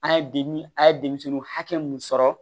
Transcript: An ye de a ye denmisɛnninw hakɛ mun sɔrɔ